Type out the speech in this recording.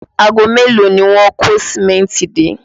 Aago mélòó ni wọ́n kó Sìmẹ́ntì dé?